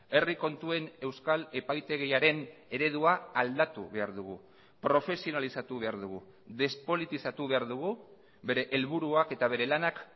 herri kontuen euskal epaitegiaren eredua aldatu behar dugu profesionalizatu behar dugu despolitizatu behar dugu bere helburuak eta bere lanak